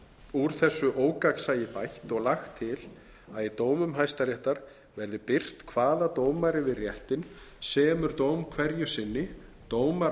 úr þessu ógagnsæi bætt og lagt til að í dómum hæstaréttar verði birt hvaða dómari við réttinn semur dóm hverju sinni dómarar